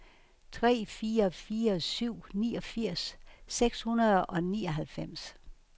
tre fire fire syv niogfirs seks hundrede og nioghalvfems